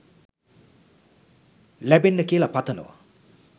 ලැබෙන්න කියලා පතනවා